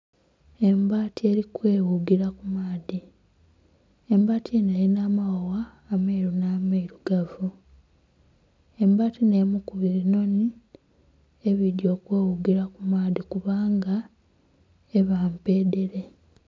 Embaati eri kweghugira ku maadhi, embaati enho erina amawawa ameeru nh'amairugavu, embaati nh'emu ku binhonhi ebiidhi okweghugira ku maadhi kubanga eba mpedhere.